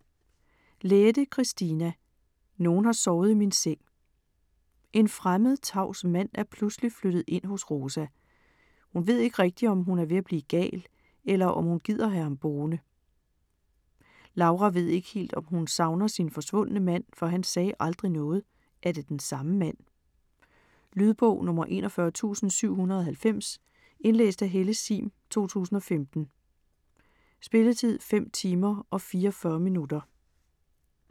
Lähde, Kristiina: Nogen har sovet i min seng En fremmed, tavs mand er pludselig flyttet ind hos Rosa. Hun ved ikke rigtig, om hun er ved at blive gal, eller om hun gider have ham boende. Laura ved ikke helt, om hun savner sin forsvundne mand, for han sagde aldrig noget. Er det den samme mand? Lydbog 41790 Indlæst af Helle Sihm, 2015. Spilletid: 5 timer, 44 minutter.